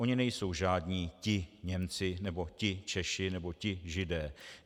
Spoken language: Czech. Oni nejsou žádní ti Němci nebo ti Češi nebo ti Židé.